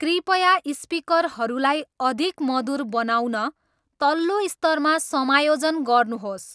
कृपया स्पिकरहरूलाई अधिक मधुर बनाउन तल्लो स्तरमा समायोजन गर्नुहोस्